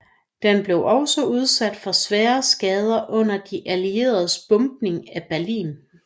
Den blev også udsat for svære skader under de allieredes bombning af Berlin